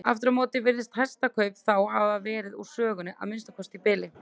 Aftur á móti virðast hestakaup þá hafa verið úr sögunni, að minnsta kosti í bili.